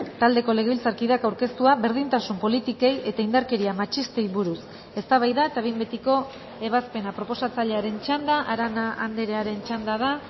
taldeko legebiltzarkideak aurkeztua berdintasun politikei eta indarkeria matxistei buruz eztabaida eta behin betiko ebazpena proposatzailearen txanda arana andrearen txanda da